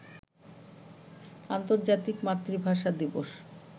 আন্তর্জাতিক মাতৃভাষা দিবস